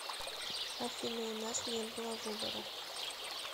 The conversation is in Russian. афина у нас не было выбора